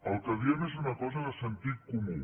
el que diem és una cosa de sentit comú